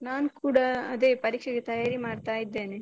ನಾನ್ ಕೂಡ ಅದೇ ಪರೀಕ್ಷೆಗೆ ತಯಾರಿ ಮಾಡ್ತಾ ಇದ್ದೇನೆ .